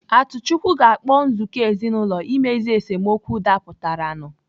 Atuchukwu ga-akpọ nzukọ ezinaụlọ imezu esemokwu dapụtara nu